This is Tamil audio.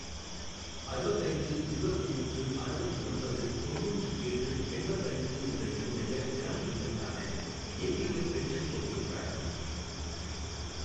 அறுபத்து ஐந்து இருபத்து மூன்று அறுபத்து ஒன்பது தொண்ணுாற்று ஏழு எண்பத்து ஐந்து என்ற என்னுடைய பிரான் எண்ணுக்கான ஏபிஒய் பென்ஷன் தொகையைக் காட்டவும்